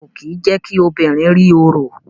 A o kí je kí obìnrin rí oro